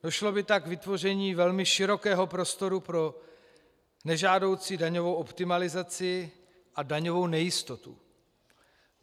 Došlo by tak k vytvoření velmi širokého prostoru pro nežádoucí daňovou optimalizaci a daňovou nejistotu.